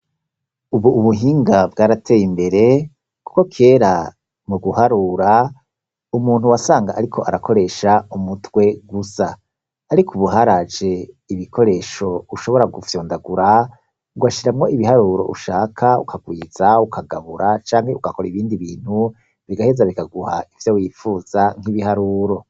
Ubu ubuhinga bwarateye imbere kuko kera mu guharura, umuntu wasanga ariko arakoresha umutwe gusa, ariko ubu haraje ibikoresho ushobora gufyondagura ugashiramwo ibiharuro ushaka ukagwiza, ukagabura canke ugakora ibindi bintu bigaheza bikaguha ivyo wipfuza nk'ibiharuro.